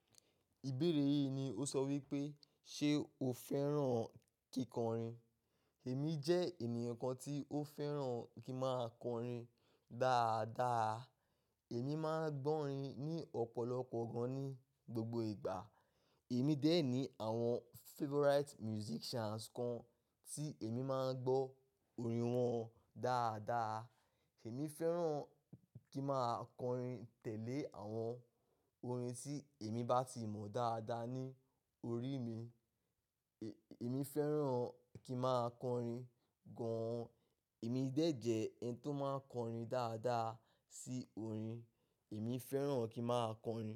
Ìbéèrè yìí ni ó sọ wípé, ṣe o fẹ́ràn kí kọrin? Èmi jẹ́ ènìyàn kan tí ó fẹ́ràn kí máa kọrin dáadáa. Èmi máa ń gbọ́ orin ní ọ̀pọ̀lọpọ̀ gan ní gbogbo ìgbà. Èmi dé ẹ̀ ní àwọn favourite musicians kan tí èmi máa ń gbọ́ orin wọn dáadáa. Èmi fẹ́ràn kí máa kọrin tẹ̀lé àwọn orin tí èmi bá ti mọ̀ dáadáa ní orí mi. Ẹ̀, èmi fẹ́ràn kí máa kọrin gan. Èmi dè ẹ̀jẹ̀ ẹni tó máa kọrin dáadáa sí orin. Èmi fẹ́ràn kí máa kọrin.